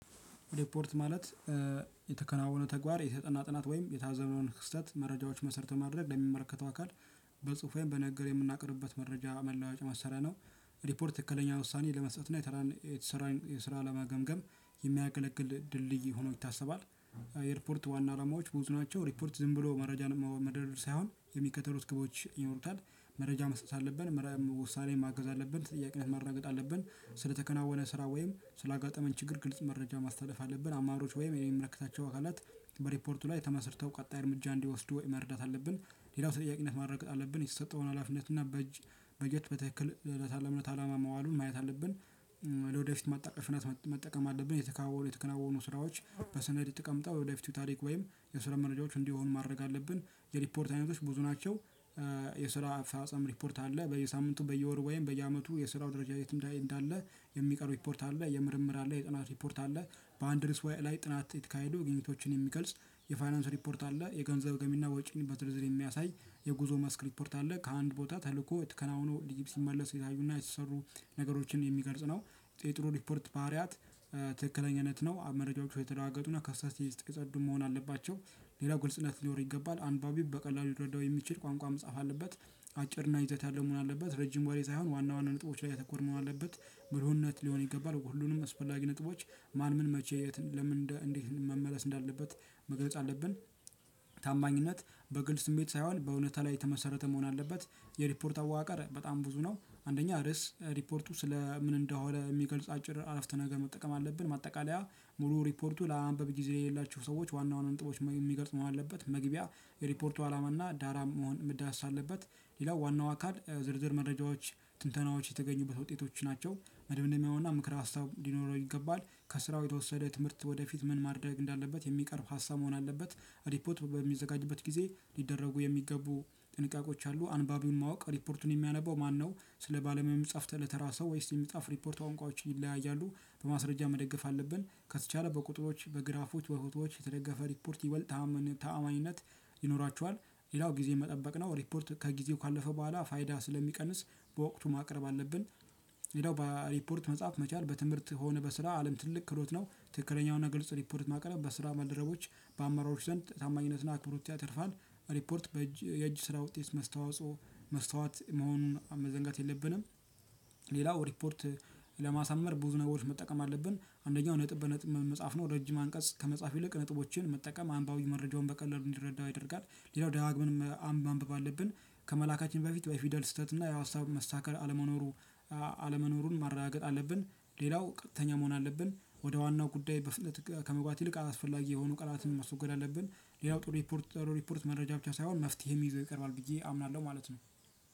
ሪፖርት ማለት የተከናወነ ተግባር የተጠና ጥናት ወይም የታዘብነውን ክስተት መረጃዎች መሰረት በማድረግ ለሚመለከተው አካል በጽሁፌም በነገር የምናቀርብበት መረጃ መለዋወጫ መሳሪያ ነው። ሪፖርት ትክክለኛ ውሳኔ ለመስጠት እና የተሰራን የስራ ለመገምገም የሚያገለግል ድልድይ ሆኖ ይታሰባል። የሪፖርት ዋና አላማዎች ብዙ ናቸው ሪፖርት ዝም ብሎ መረጃን መደረር ሳይሆን የሚከተሉት ግቦች ይኖሩታል። መረጃ መስጠት አለብን መረጃ ውሳኔ ማገዝ አለበት ጥያቄነት ማረጋገጥ አለብን ስለተከናወነ ስራ ወይም ስለአጋጠመን ችግር ግልጽ መረጃ ማስተላለፍ አለብን አማሮች ወይም የሚመለከታቸው አካላት። በሪፓርቱላይ ተመስርተው ቀጣይ እርምጃ እንዲወስዱ መርዳት አለብን። ሌላው ተጠያቂነት ማረግ አለብን የተሰጠውን ሀላፊነት እና በእጅ በጀት በትክክል ለታለመለት አላማ መዋሉን ማየት አለብን። ወደፊት ማጣቀሽነት መጠቀም አለብን የተከናወኑ የተከናወኑ ስራዎች በሰነድ የተቀምጠው የወደፊቱ ታሪክ ወይም የስራ መረጃዎች እንዲሆኑ ማድረግ አለብን። የሪፖርት አይነቶች ብዙ ናቸው። የስራ አፈጻጸም ሪፖርት አለ በየሳምንቱ በየወሩ ወይም በየአመቱ የስራው ደረጃ የትምዳኤ እንዳለ። የሚቀርብ ሪፖርት አለ የምርምር አለ የጥናት ሪፖርት አለ። በአንድ እርእስ ላይ ጥናት እተካሄዶ ግኝቶችን የሚገልጽ የፋይናንስ ሪፖርት አለ የገንዘብ ገቢና ወጪን በዝርዝር የሚያሳይ የጉዞ ማስክ ሪፖርት አለ ከአንድ ቦታ ተልእኮ የተከናወኑ እድጊብ ሲመለስ ይታዩና የተሰሩ ነገሮችን የሚገልጽ ነው። ቴጥሮ ሪፖርት ባህሪያት። ትክክለኛነት ነው አብመረጃወቹ የተረጋገጡና ከስተት የጸዱ መሆን አለባቸው። ሌላው ግልጽነት ሊኖር ይገባል አንባቢው በቀላሉ ሊረዳው የሚችል ቋንቋ መጻፍ አለበት። አጭርና ይዘት ያለው መሆን አለበት ረጅም ወሬ ሳይሆን ዋና ዋና ነጥቦች ላይ ያተኮረ መሆን አለበት። ብልህነት ሊሆን ይገባል ሁሉንም አስፈላጊ ነጥቦች ማን ምን መቼ የት ለምን እንዴት መመለስ እንዳለበት መገለጽ አለብን። ታማኝነት በግል ስሜት ሳይሆን በእውነታ ላይ የተመሰረተ መሆን አለበት። የሪፖርት አወቃቀር በጣም ብዙ ነው። አንደኛ ርዕስ ሪፖርቱ ስለ ምን እንደሆነ የሚገልጽ አጭር አረፍተ ነገር መጠቀም አለብን። ማጠቃለያ ሙሉ ሪፖርቱ ለማንበብ ጊዜ የሌላችሁ ሰዎች ዋናውን ነጥቦች የሚገልጽ መሆን አለበት። መግቢያ የሪፖርቱ አላማና ዳራም መሆን መዳሰስ አለበት። ሌላው ዋናው አካል ዝርዝር መረጃዎች ትንተናዎች የተገኙበት ውጤቶች ናቸው መደምደሚያውና ምክረ ሀሳብ ሊኖረው ይገባል። ከስራው የተወሰደ ትምህርት ወደፊት ምን ማድረግ እንዳለበት የሚቀርብ ሀሳብ መሆን አለበት። ሪፖት በሚዘጋጅበት ጊዜ ሊደረጉ የሚገቡ ጥንቃቆች አሉ አንባቢውን ማወቅ ሪፖርቱን የሚያነበው ማነው ስለ ባለሙያ የሚጻፍ ስለተራ ሰው ወይስ የሚጻፍ ሪፖርት ቋንቋዎቹ ይለያያሉ። በማስረጃ መደገፍ አለብን ከተቻለ በቁጥሮች በግራፎች በፎቶዎች የተደገፈ ሪፖርት ይበልጥ ታማኝነት ይኖራችኋል። ሌላው ጊዜ መጠበቅ ነው ሪፖርት ከጊዜው ካለፈ በኋላ ፋይዳ ስለሚቀንስ በወቅቱ ማቅረብ አለብን። ሌላው በሪፖርት መጻፍ መቻል በትምህርት ሆነ በስራ አለም ትልቅ ክህሎት ነው። ትክክለኛውን ግልጽ ሪፖርት ማቀረብ በስራ መደረቦች በአመራሮች ዘንድ ታማኝነትና አክብሮት ያተርፋል። ሪፖርት በእጅ የእጅ ስራ ውጤት መስተዋጾ መስተዋት መሆኑን መዘንጋት የለብንም። ሌላው ሪፖርት ለማሳመር ብዙ ነገሮች መጠቀም አለብን አንደኛው ነጥብ በነጥብ መጻፍ ነው። ረጅም አንቀጽ ከመጻፍ ይልቅ ነጥቦችን መጠቀም አንባቢው መረጃውን በቀለሉ እንዲረዳው ያደርጋል። ሌላው ደጋግመንም ማንበብ አለብን። ከመላካችን በፊት በፊደል ስህተት እና የሀሳብ መስተካከል አለመኖሩ አለመኖሩን ማረጋገጥ አለብን። ሌላው ቀጥተኛ መሆን አለብን ወደ ዋናው ጉዳይ በፍጥነት ከመግባት ይልቅ አላስፈላጊ የሆኑ ቃላትን ማስወገድ አለብን። ሌላው ጥሩ ሪፖርት ጥሩ ሪፖርት መረጃ ብቻ ሳይሆን መፍትሄም ይዞ ይቀርባል ብዬ አምናለሁ ማለት ነው።